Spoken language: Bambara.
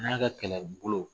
N'a ka kɛlɛbolo